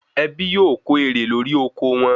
Ẹbí yóò ko ere lori oko won